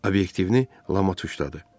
Obyektivini Lama tuşladı.